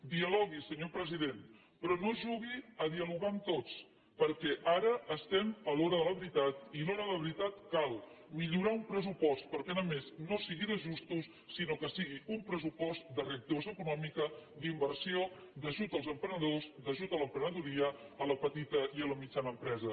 dialogui senyor president però no jugui a dialogar amb tots perquè ara estem a l’hora de la veritat i a l’hora de la veritat cal millorar un pressupost perquè no sigui només d’ajustos sinó que sigui un pressupost de reactivació econòmica d’inversió d’ajut als emprenedors d’ajut a l’emprenedoria a la petita i a la mitjana empresa